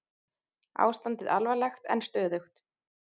Ástandið alvarlegt en stöðugt